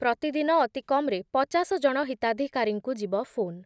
ପ୍ରତିଦିନ ଅତିକମ୍‌ରେ ପଚାଶ ଜଣ ହିତାଧିକାରୀଙ୍କୁ ଯିବ ଫୋନ